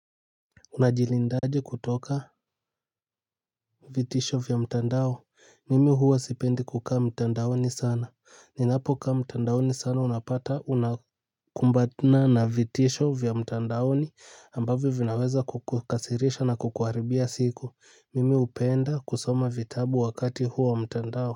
Unajilindaje kutoka vitisho vya mtandao. Mimi huwa sipendi kukaa mtandaoni sana. Ninapokaa mtandaoni sana unapata unakumbana na vitisho vya mtandaoni ambavyo vinaweza kukukasirisha na kukuharibia siku. Mimi upenda kusoma vitabu wakati huwa mtandao.